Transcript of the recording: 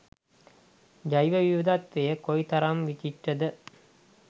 ජෛව විවිධත්වය කොයිතරම් විචිත්‍රද.